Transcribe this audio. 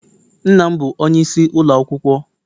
Nna m bụ onyeisi ụlọ akwụkwọ.